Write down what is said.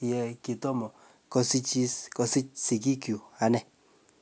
ye kitomo kosijis kosig sigik chuk anee